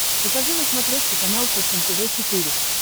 покажи на смотрешке канал фэшен тв четыре к